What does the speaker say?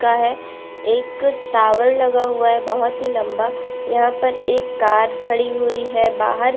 का है एक टावर लगा हुआ है बहोत ही लम्बा यहाँ पर एक कार खाड़ी हुई है बाहार।